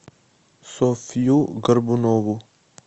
софью горбунову